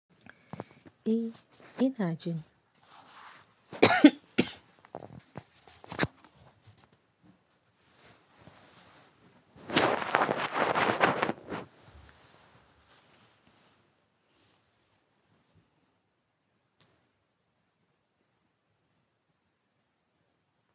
E, ina jin.